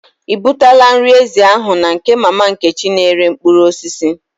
I butela nri ezi ahụ na nke mama Nkechi na-ere mkpụrụ osisi?